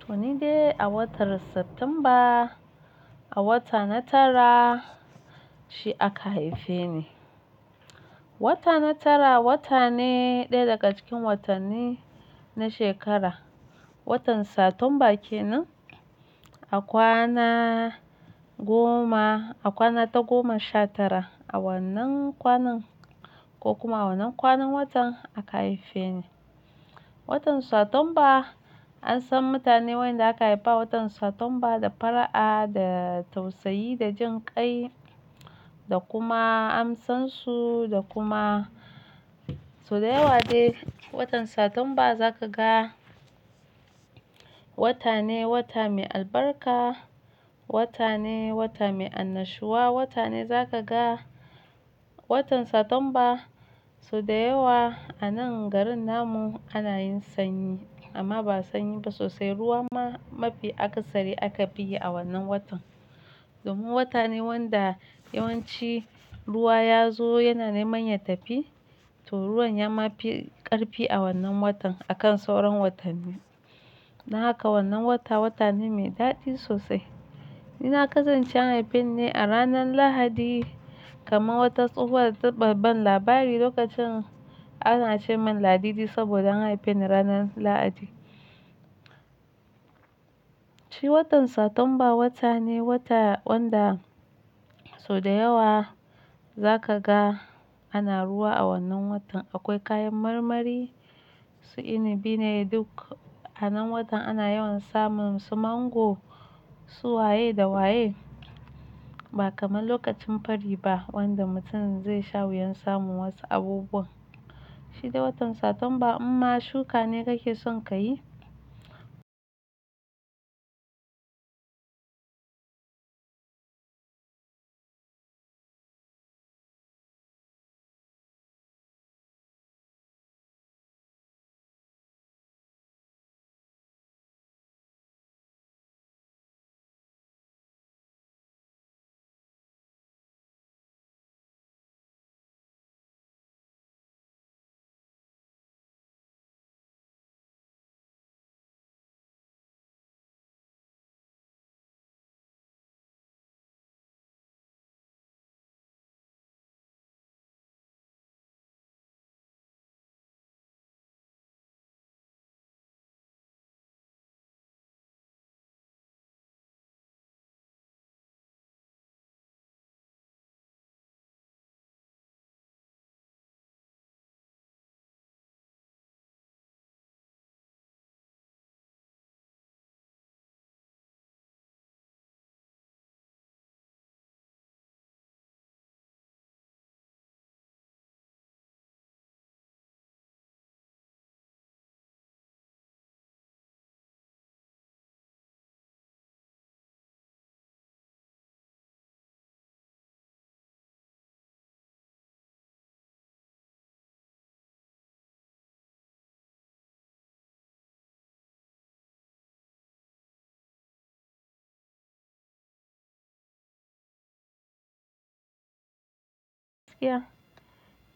Toni dai a watan Satumba, a wata na tara shi aka haife ni. Wata na tara wata ne ɗaya daga cikin watanni na shekara. Watan Satumba kenan a kwana goma, a kwana ta goma sha tara. A wannan kwanan ko kuma a wannan kwanan watan aka haife ni. Watan Satumba an san mutanen wanda aka haifa watan Satumba da fara'a, da tausayi, da jin kai da kuma an san su da kuma su da yawa dai watan Satumba za ka ga wata ne wata mai albarka, wata ne wata mai annashuwa, wata ne za ka ga watan Satumba su da yawa a nan garin na mun ana yin sanyi amma ba sanyi ba sosai. Ruwa ma mafi asari aka biye a wannan watan. Domin wata ne wanda yawanci ruwa ya zo yana neman ya tafi, to ruwan yama mafi ƙarfi a wannan watan akan sauran watanni. Don haka wannan wata wata ne mai daɗi sosai. Ni na kasance an haife ni a ranar Lahadi kamar wata tsohuwar ta ba ban labari lokacin ana ce min Ladidi saboda an haife ni ranar Lahadi. Shi watan Satumba wata ne wata wanda su da yawa za ka ga ana ruwa a wannan watan. Akwai kayan marmari su ina bi ne duk a nan watan ana yawan samun su mango, su waye da waye ba kamar lokacin fari ba wanda mutum zai sha wuyan samun wasu abubuwan. Shi dai watan Satumba in ma shuka ne kake son ka yi.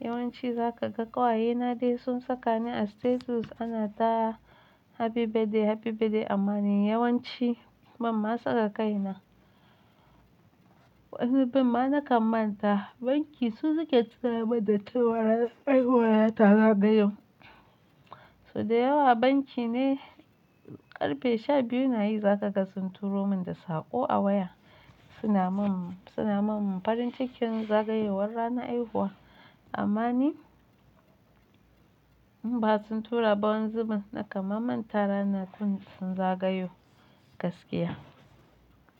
Yawanci za ka ga ƙawaye na dai sun saka ni a status ana ta Happy birthday Happy birthday amma ni yawanci ban ma saka kai na. Wani zubin ma na kammanta banki su suke tura min datti waran ai huwa na zagayo. Su da yawa banki ne ƙarfe sha biyu na yi za ka ga sun turo min da saƙo a waya suna min, suna min farin cikin zagayowar ranar haihuwa. Amma ni in ba su tura ba wanzu ban na kammanta rana tun zagayo gaskiya.